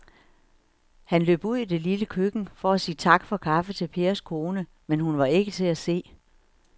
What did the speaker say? Han løb ud i det lille køkken for at sige tak for kaffe til Pers kone, men hun var ikke til at se.